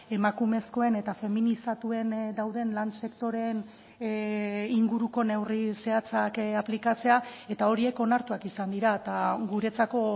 emakumezkoen eta feminizatuen dauden lan sektoreen inguruko neurri zehatzak aplikatzea eta horiek onartuak izan dira eta guretzako